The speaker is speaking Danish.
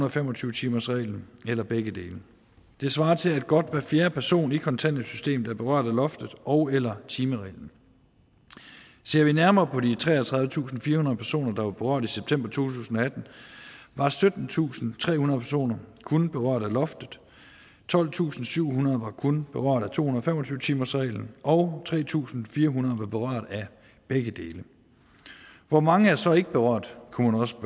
og fem og tyve timersreglen eller begge dele det svarer til at godt hver fjerde person i kontanthjælpssystemet er berørt af loftet ogeller timereglen ser vi nærmere på de treogtredivetusinde og firehundrede personer der var berørt i september to tusind og atten var syttentusinde trehundrede personer kun berørt af loftet tolvtusinde og syvhundrede var kun berørt af to hundrede og fem og tyve timersreglen og tre tusind fire hundrede var berørt af begge dele hvor mange er så ikke berørt kunne man også